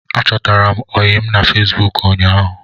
Achọtara m ọyịm na Fesbụụk ụñyaahu